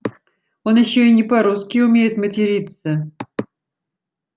он ещё и не по-русски умеет материться